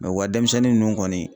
u ka denmisɛnnin ninnu kɔni